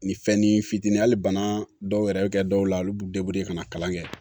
Nin fɛn ni fitinin hali bana dɔw yɛrɛ bɛ kɛ dɔw la olu b'u ka na kalan kɛ